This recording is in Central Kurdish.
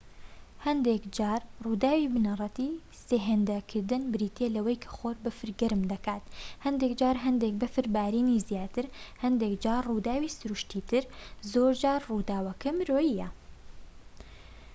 هەندێک جار ڕووداوی بنەڕەتی سێهێندەکردن بریتیە لەوەی کە خۆر بەفر گەرم دەکات هەندێک جار هەندێک بەفر بارینی زیاتر هەندێک جار ڕووداوی سروشتی تر زۆر جار ڕووداوەکە مرۆییە